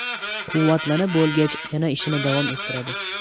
Quvvatlanib bo‘lgach yana ishini davom ettiradi.